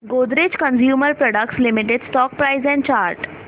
Godrej consumer products limited stock price and chart